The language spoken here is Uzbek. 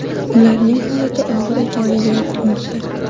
Ularning holati og‘ir ekanligi aytilmoqda.